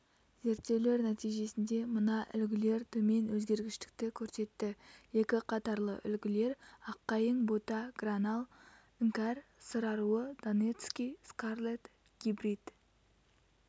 зерттеулер нәтижесінде мына үлгілер төмен өзгергіштікті көрсетті екіқатарлы үлгілер аққайың бота гранал іңкәр сыр аруы донецкий скарлетт гибрид